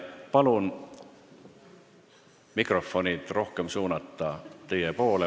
Ma palun mikrofonid suunata rohkem teie poole.